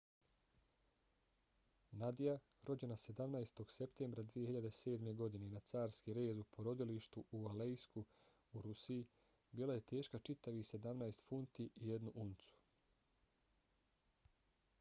nadia rođena 17. septembra 2007. godine na carski rez u porodilištu u aleisku u rusiji bila je teška čitavih 17 funti i 1 uncu